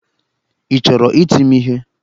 Ị chọrọ iti m ihe?